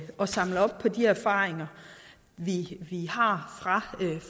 at samle op på de erfaringer vi har fra